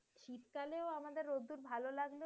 শীতকালেও আমাদের রোদ্দুর ভালো লাগ